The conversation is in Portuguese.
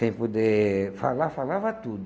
Sem poder falar, falava tudo.